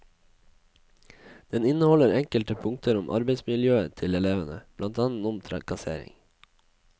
Den inneholder enkelte punkter om arbeidsmiljøet til elevene, blant annet om trakassering.